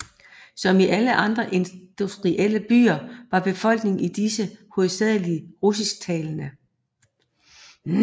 Som i alle de andre industrielle byer var befolkningen i disse hovedsageligt russisktalende